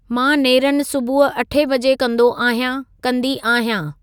मां नेरनि सुबुह अठे बजे कंदो आहयां/ कंदी आहयां